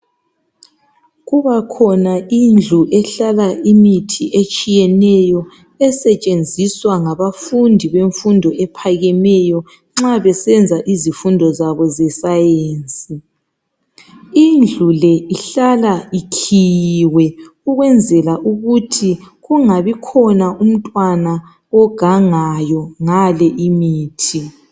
Kubakhona indlu ehlala imithi etshiyeneyo esetshenziswa ngabafundi bemfundo ephakemeyo nxa besenza izifundo zabo zesayensi. Indlu le ihlala ikhiyiwe ukwenzela ukuthi kungabikhona umntwana ogangayo ngale imithi.